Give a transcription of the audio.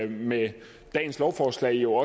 vi med dagens lovforslag jo